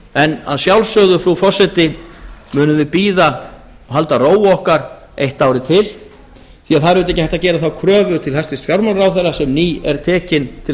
en að sjálfsögðu frú forseti munum við bíða halda ró okkar eitt árið til því það er auðvitað ekki hægt að gera þá kröfu til hæstvirts fjármálaráðherra sem nýtekinn til